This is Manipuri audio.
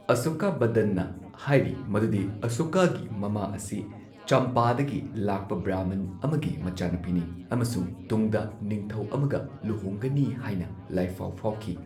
ꯑꯁꯣꯀꯥꯕꯗꯅ ꯍꯥꯏꯔꯤ ꯃꯗꯨꯗꯤ ꯑꯁꯣꯀꯥꯒꯤ ꯃꯃꯥ ꯑꯁꯤ ꯆꯝꯄꯥꯗꯒꯤ ꯂꯥꯛꯄ ꯕ꯭ꯔꯃꯟ ꯑꯃꯒꯤ ꯃꯆꯥꯅꯨꯄꯤꯅꯤ, ꯑꯃꯁꯨꯡ ꯇꯨꯡꯗ ꯅꯤꯡꯊꯧ ꯑꯃꯒ ꯂꯨꯍꯣꯡꯒꯅꯤ ꯍꯥꯏꯅ ꯂꯥꯢꯐꯥꯎ ꯐꯥꯎꯈꯤ꯫